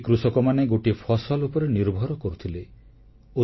ପ୍ରଥମେ ଏ କୃଷକମାନେ ଗୋଟିଏ ଫସଲ ଉପରେ ନିର୍ଭର କରୁଥିଲେ